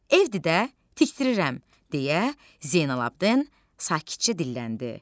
Evdir də, tikdirirəm, deyə Zeynalabidin sakitcə dilləndi.